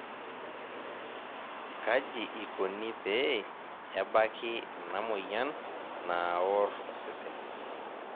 kaji ikoni pee ebaki ena moyian naaor osesen?